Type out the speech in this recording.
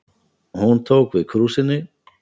Hún tók við krúsinni.